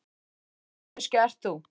Hvernig manneskja ert þú?